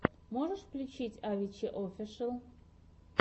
можешь включить авичи офишел